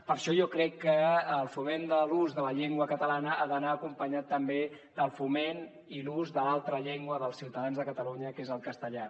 per això jo crec que el foment de l’ús de la llengua catalana ha d’anar acompanyat també del foment i l’ús de l’altra llengua dels ciutadans de catalunya que és el castellà